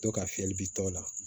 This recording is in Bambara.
To ka fiyɛli bi tɔ la